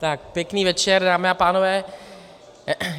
Tak pěkný večer, dámy a pánové.